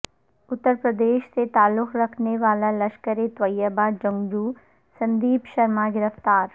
اترپردیش سے تعلق رکھنے والا لشکر طیبہ جنگجو سندیپ شرما گرفتار